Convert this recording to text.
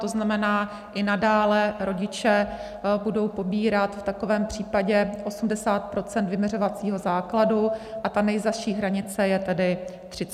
To znamená, i nadále rodiče budou pobírat v takovém případě 80 % vyměřovacího základu a ta nejzazší hranice je tedy 30. červen.